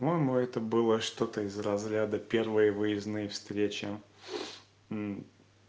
по-моему это было что-то из разряда первые выездные встречи м